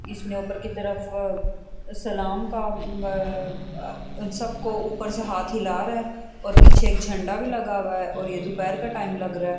اسنے اپر کی طرف سلام کا سبکو اپر سے ہاتھ ہلا رہا ہے اور پیچھے ایک جھنڈا بھی لگا ہوا ہے اور یہ دوپہر کا ٹائم لگ رہا ہے۔